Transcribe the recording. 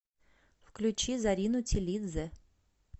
включи зарину тилидзе